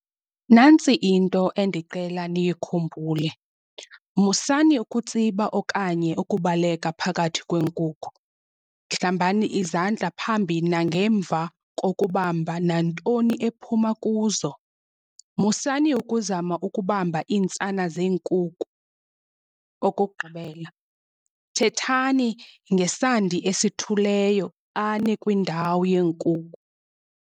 Nantsi into endicela niyikhumbule, musani ukutsiba okanye ukubaleka phakathi kweenkukhu, hlambani izandla phambi nangemva kokubamba nantoni ephuma kuzo. Musani ukuzama ukubamba iintsana zeenkuku. Okokugqibela, thethani ngesandi esithuleyo xa nikwindawo yeenkuku.